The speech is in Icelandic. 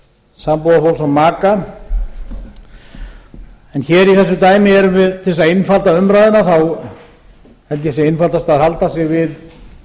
sambúðarfólks og maka en hér í þessu dæmi erum við til að einfalda umræðuna þá held ég að sé einfaldast að halda sig við